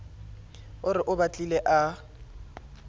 a re o batlile a